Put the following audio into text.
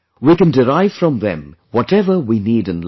We can derive from them whatever we need in life